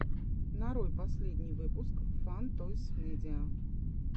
нарой последний выпуск фан тойс медиа